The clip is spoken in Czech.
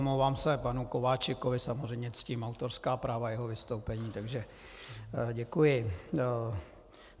Omlouvám se panu Kováčikovi, samozřejmě ctím autorská práva jeho vystoupení, takže děkuji.